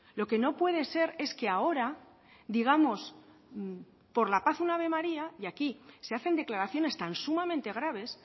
lo que no puede ser es que ahora digamos por la paz un ave maría y aquí se hacen declaraciones tan sumamente graves